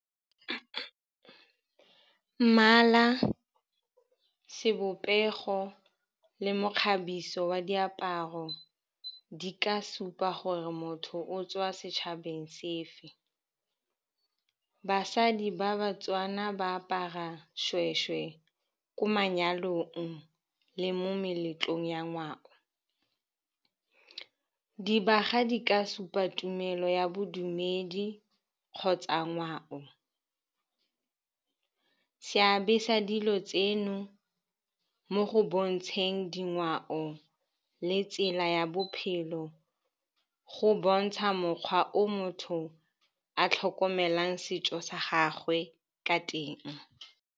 Mmala, sebopego le mokgabiso wa diaparo di ka supa gore motho o tswa setšhabeng se fe. Basadi ba Batswana ba apara shweshwe ko manyalong le mo meletlong ya ngwao. Dibaga di ka supa tumelo ya bodumedi kgotsa ngwao. Seabe sa dilo tseno mo go bontsheng dingwao le tsela ya bophelo, go bontsha mokgwa o motho a tlhokomelang setso sa gagwe ka teng.